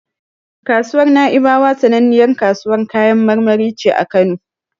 Kasuwar Na'ibawa sananniyar kasuwar kayan marmari ce a Kano.